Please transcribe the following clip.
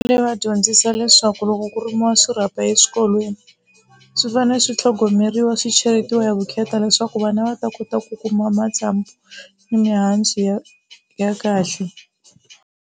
Leyi va dyondzisa leswaku loko ku rimiwa swirhapa eswikolweni swi fanele swi tlhogomeriwa swicheletiwa ya vukheta leswaku vana va ta kota ku kuma matsambu ni mihandzu ya ya kahle.